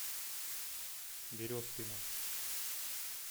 березкину